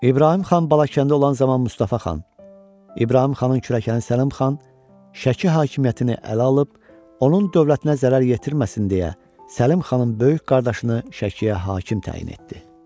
İbrahim xan Balakəndə olan zaman Mustafa xan, İbrahim xanın kürəkəni Səlim xan, Şəki hakimiyyətini ələ alıb, onun dövlətinə zərər yetirməsin deyə, Səlim xanın böyük qardaşını Şəkiyə hakim təyin etdi.